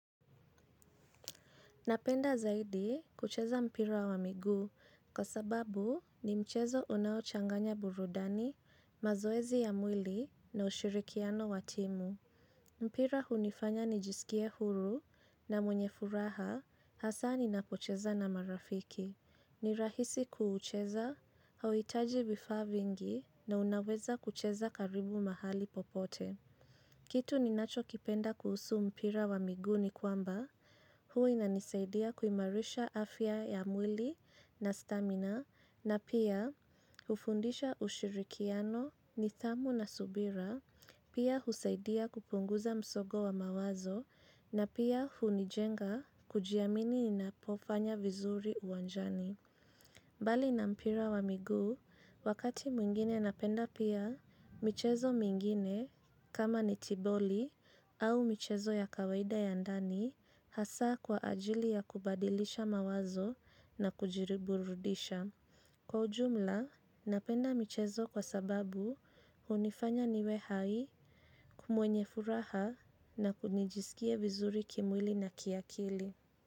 Napenda zaidi kucheza mpira wa miguu kwa sababu ni mchezo unaochanganya burudani, mazoezi ya mwili na ushirikiano watimu. Mpira hunifanya ni jisikia huru na mwenye furaha hasa ni napocheza na marafiki. Ni rahisi kuuucheza, hawitaji vifa vingi na unaweza kucheza karibu mahali popote. Kitu ni nacho kipenda kuhusu mpira wa miguu ni kwamba, huinanisaidia kuimarisha afya ya mwili na stamina, na pia hufundisha ushirikiano ni thamu na subira, pia husaidia kupunguza msogo wa mawazo, na pia hunijenga kujiamini ni napofanya vizuri uwanjani. Mbali na mpira wa migu, wakati mwingine napenda pia, mchezo mwingine, kama netiboli au mchezo ya kawaida ya ndani, hasa kwa ajili ya kubadilisha mawazo na kujiriburudisha. Kwa ujumla, napenda mchezo kwa sababu hunifanya niwehai kumwenye furaha na kunijisikie vizuri kimwili na kiakili.